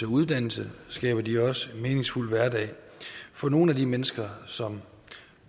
uddannelse skaber de også meningsfuld hverdag for nogle af de mennesker som